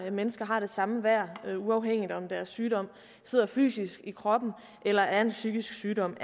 at mennesker har det samme værd uanset om deres sygdom sidder fysisk i kroppen eller er en psykisk sygdom